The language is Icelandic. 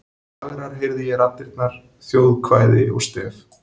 Fagrar heyrði ég raddirnar: þjóðkvæði og stef.